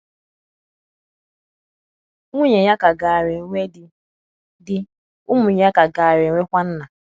Nwunye ya ka gaara enwe di; di; ụmụ ya ka gaara enwe kwa nna.